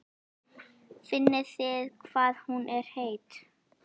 Finnið þið hvað hún er heit?